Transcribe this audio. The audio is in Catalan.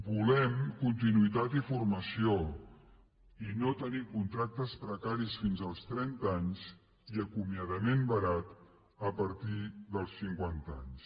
volem continuïtat i formació i no tenir contractes precaris fins als trenta anys i acomiadament barat a partir dels cinquanta anys